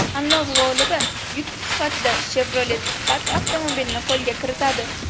Tanlov g‘olibi yutuq sifatida Chevrolet Spark avtomobilini qo‘lga kiritadi.